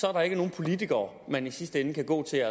er der ikke nogen politikere man i sidste ende kan gå til